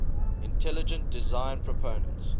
intelligent design proponents